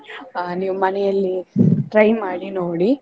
ಅಹ್ ನೀವು ಮನೆಯಲ್ಲಿ try ಮಾಡಿ ನೋಡಿ.